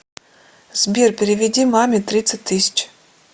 сбер переведи маме тридцать тысяч